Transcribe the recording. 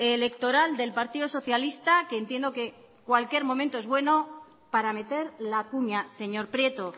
electoral del partido socialista que entiendo que cualquier momento es bueno para meter la cuña señor prieto